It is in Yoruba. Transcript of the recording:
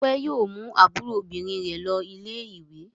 Ọpẹẹ́ yóò mú àbúrò obìnrin rẹ̀ lọ ilé-ìwé.